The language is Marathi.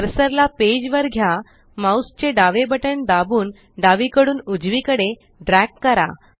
कर्सर ला पेज वर घ्या माउस चे दावे बटन दाबून डावीकडून उजवीकडे ड्रॅग करा